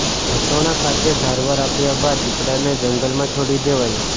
વાસોણા ખાતે સારવાર આપ્યા બાદ દીપડાને જંગલમાં છોડી દેવાયો